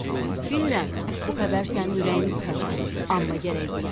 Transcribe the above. Əhməd, bilirəm bu xəbər sənin ürəyini sıxacaq, amma gərək deyəm.